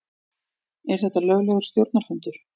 Er þetta löglegur stjórnarfundur?